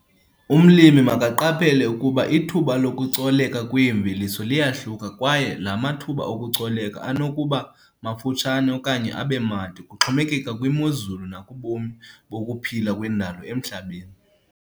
Umlimi makaqaphele ukuba ithuba lokucoleka kweemveliso liyahluka kwaye la mathuba okucoleka anokuba mafutshane okanye abe made kuxhomekeka kwimozulu nakubomi bokuphila kwendalo emhlabeni.